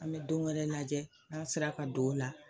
An bɛ don wɛrɛ lajɛ n'a sera ka don o la.